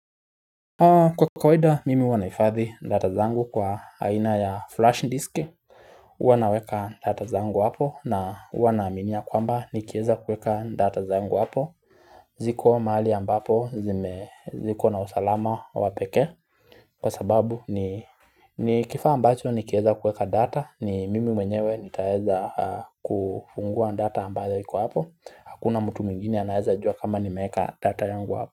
Kwa kawaida mimi huwa nahifadhi data zangu kwa aina ya flash disk. Huwa naweka data zangu hapo na huwa naaminia kwamba nikieza kueka data zangu hapo ziko mahali ambapo ziko na usalama wapekee Kwa sababu ni kifaa ambacho nikieza kuweka data, ni mimi mwenyewe nitaeza kufungua data ambayo iko hapo. Hakuna mtu mwingine anaeza jua kama nimeweka data yangu hapo.